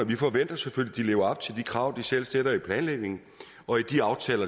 vi forventer selvfølgelig at op til de krav de selv stiller i planlægningen og i de aftaler